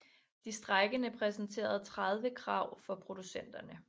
De strejkende præsenterede 30 krav for producenterne